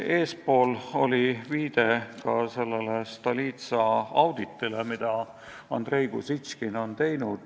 Eespool oli viide Stolitsa auditile, mille Andrei Kuzitškin on teinud.